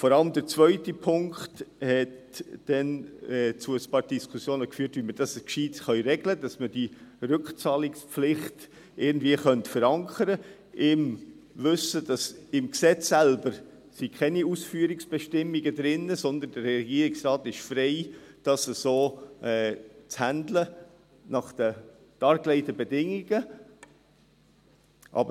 Vor allem der zweite Punkt führte damals zu einigen Diskussionen, wie wir das klug regeln können, damit wir die Rückzahlungspflicht irgendwie verankern könnten, im Wissen, dass im Gesetz selbst keine Ausführungsbestimmungen drin sind, sondern der Regierungsrat frei ist, dies so nach den dargelegten Bedingungen zu handhaben.